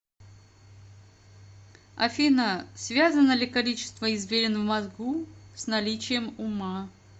афина связано ли количество извилин в мозгу с наличием ума